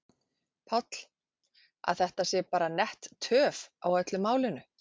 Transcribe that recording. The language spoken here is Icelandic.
Páll: Að þetta sé bara nett töf á öllu málinu?